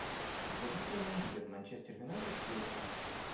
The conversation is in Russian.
вруби прямой эфир манчестер юнайтед с лестером